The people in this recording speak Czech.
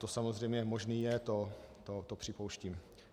To samozřejmě možné je, to připouštím.